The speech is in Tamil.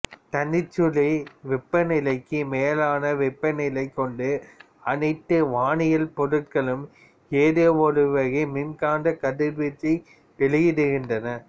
தனிச்சுழி வெப்பநிலைக்கு மேலான வெப்பநிலை கொண்ட அனைத்து வானியல் பொருள்களும் ஏதோ ஒருவகை மின்காந்தக் கதிர்வீச்சை வெளியிடுகின்றன